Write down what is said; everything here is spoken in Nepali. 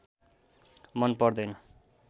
मन पर्दैन